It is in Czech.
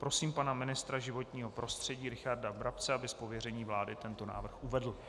Prosím pana ministra životního prostředí Richarda Brabce, aby z pověření vlády tento návrh uvedl.